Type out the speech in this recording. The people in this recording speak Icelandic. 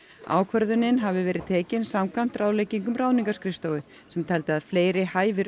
ákvörðunin hafi verið tekin samkvæmt ráðleggingum ráðningarskrifstofu sem teldi að fleiri hæfir